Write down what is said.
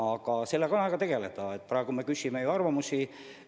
Aga sellega on aega tegeleda, praegu me küsime ju arvamusi.